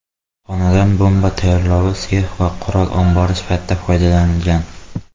Xonadon bomba tayyorlovchi sex va qurol ombori sifatida foydalanilgan.